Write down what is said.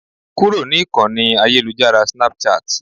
Kúrò ní Ìkọ́ni ayélujára Snapchat.